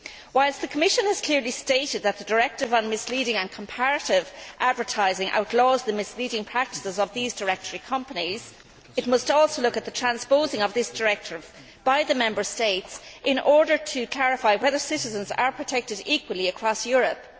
Whilst the Commission has clearly stated that the directive on misleading and comparative advertising outlaws the misleading practices of these directory companies, it must also look at the transposing of that directive by the Member States in order to clarify whether citizens are protected equally across Europe.